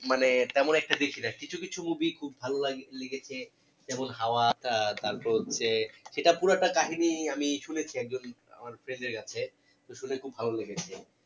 মানে তেমন একটা কিছু কিছু movie খুব ভালো লাগে লেগেছে যেমন হাওয়া আহ তারপর হচ্ছে সেটা পুরাটা কাহিনী আমি শুনেছি একজন আমার friend এর কাছে তো শুনে খুব ভালো লেগেছে